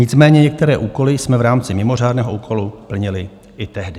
Nicméně některé úkoly jsme v rámci mimořádného úkolu plnili i tehdy.